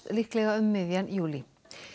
líklega um miðjan júlí